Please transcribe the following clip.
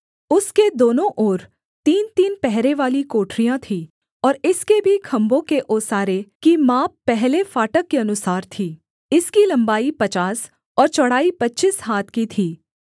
उसके दोनों ओर तीनतीन पहरेवाली कोठरियाँ थीं और इसके भी खम्भों के ओसारे की माप पहले फाटक के अनुसार थी इसकी लम्बाई पचास और चौड़ाई पच्चीस हाथ की थी